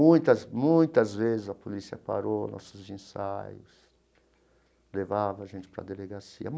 Muitas, muitas vezes a polícia parou nossos ensaios, levava a gente para a delegacia.